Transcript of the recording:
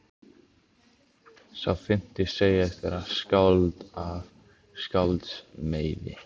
Sá fimmti segist vera skáld af skálds meiði.